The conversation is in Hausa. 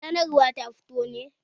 Sanarwar ta fito ne?